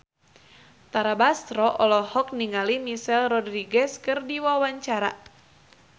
Tara Basro olohok ningali Michelle Rodriguez keur diwawancara